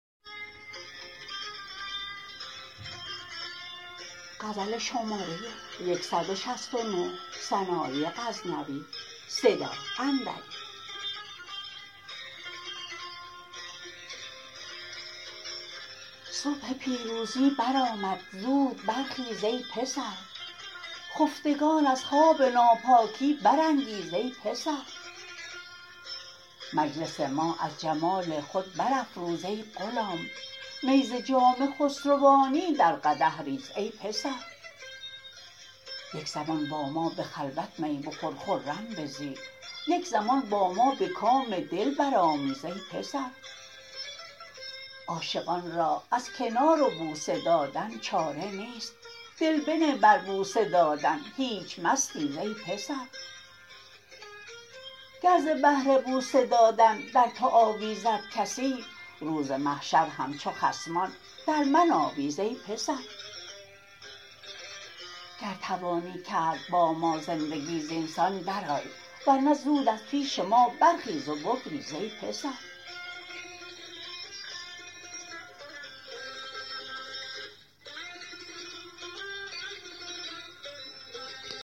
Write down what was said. صبح پیروزی برآمد زود بر خیز ای پسر خفتگان از خواب ناپاکی برانگیز ای پسر مجلس ما از جمال خود برافروز ای غلام می ز جام خسروانی در قدح ریز ای پسر یک زمان با ما به خلوت می بخور خرم بزی یک زمان با ما به کام دل برآمیز ای پسر عاشقان را از کنار و بوسه دادن چاره نیست دل بنه بر بوسه دادن هیچ مستیز ای پسر گر ز بهر بوسه دادن در تو آویزد کسی روز محشر همچو خصمان در من آویز ای پسر گر توانی کرد با ما زندگی زینسان درآی ور نه زود از پیش ما برخیز و بگریز ای پسر